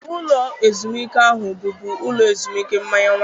Ụlọ ezumike ahụ bụbu ụlọ ezumike mmanya waịn.